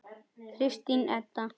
Kristín Edda.